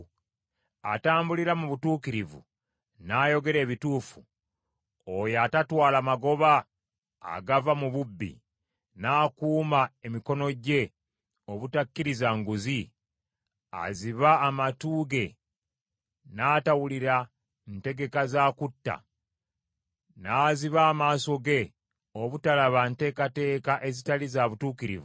Atambulira mu butuukirivu, n’ayogera ebituufu, oyo atatwala magoba agava mu bubbi, n’akuuma emikono gye obutakkiriza nguzi, aziba amatu ge n’atawulira ntegeka za kutta, n’aziba amaaso ge obutalaba nteekateeka ezitali za butuukirivu,